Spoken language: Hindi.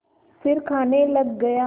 फिर खाने लग गया